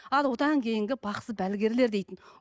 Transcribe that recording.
ал одан кейінге бақсы балгерлер дейтін